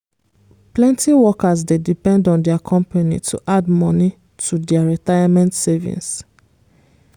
plenty workers dey depend on dia company to add money to dia retirement savings.